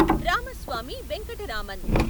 Ramaswamy Venkataraman